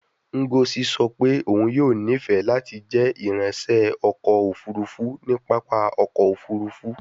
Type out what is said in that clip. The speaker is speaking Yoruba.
Ngozi sọ pe oun yoo nifẹ lati jẹ iranṣẹ ọkọ ofurufu ni papa ọkọ ofurufu